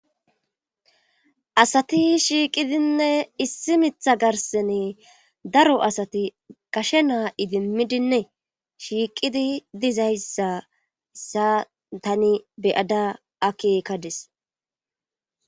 Asati shiiqidinne issi mitha garsene daro asati gashe naa idimmidinne shiiqidi dizayssa hessa tani beyada akkekada be'adis.